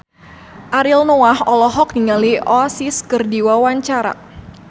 Ariel Noah olohok ningali Oasis keur diwawancara